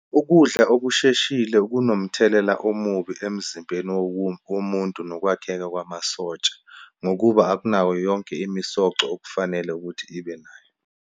Ukudla okusheshile kunomthelela omubi emzimbeni womuntu, nokwakheka kwamasotsha ngokuba akunawo yonke imisoco okufanele ukuthi ibe nayo.